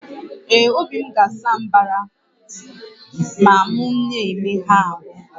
Ee, obi m ga-asa mbara ma m na-emegha ahụ